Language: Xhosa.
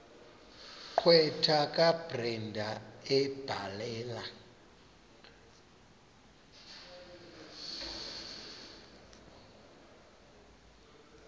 gqwetha kabrenda ebhalela